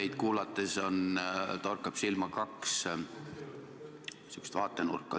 Teid kuulates torkab silma kaks sihukest vaatenurka.